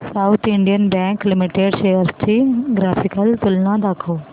south Indian Bank Limited shares ची graphical तुलना दाखव